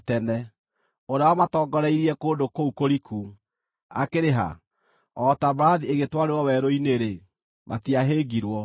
ũrĩa wamatongoreirie kũndũ kũu kũriku, akĩrĩ ha? O ta mbarathi igĩtwarĩrwo werũ-inĩ-rĩ, matiahĩngirwo;